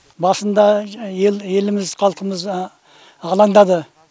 басында еліміз халқымыз алаңдады